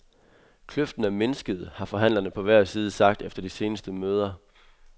Kløften er mindsket, har forhandlerne på hver side sagt efter de seneste møder.